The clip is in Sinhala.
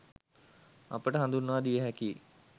අපට හඳුන්වා දිය හැකියි.